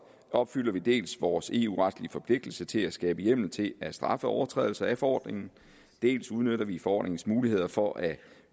opfylder vi dels vores eu retlige forpligtelse til at skabe hjemmel til at straffe overtrædelse af forordningen dels udnytter vi forordningens muligheder for at